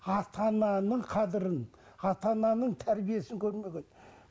ата ананың қадірін ата ананың тәрбиесін көрмеген